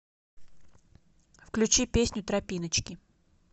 включи песню тропиночки